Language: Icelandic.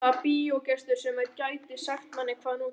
Hvaða bíógestur sem er gæti sagt manni hvað nú gerist.